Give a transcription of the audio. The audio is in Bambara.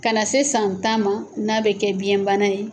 Ka na se san tan ma n'a bɛ kɛ biyɛnbana ye.